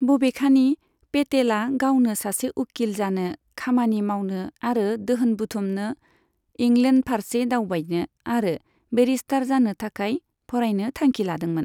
बबेखानि, पेटेला गावनो सासे उखिल जानो, खामानि मावनो आरो दोहोन बुथुमनो, इंलेण्डफारसे दावबायनो आरो बेरिस्टार जानो थाखाय फरायनो थांखि लादोंमोन।